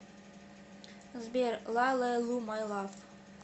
сбер ла ле лу май лав